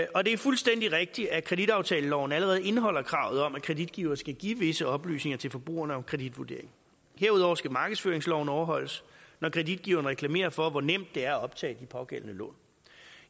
og det er fuldstændig rigtigt at kreditaftaleloven allerede indeholder kravet om at kreditgiver skal give visse oplysninger til forbrugeren om kreditvurderingen herudover skal markedsføringsloven overholdes når kreditgivere reklamerer for hvor nemt det er at optage de pågældende lån